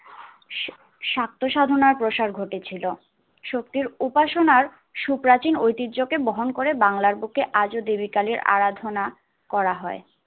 সাত্য সাধনার প্রসার ঘটেছিলো। সত্যির উপাসনার সুপ্রাচীন ওতিহ্যকে বহন করে বাংলার বুকে আজো দেবিকালের আরাধনা করা হয়।